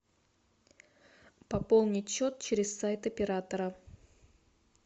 пополнить счет через сайт оператора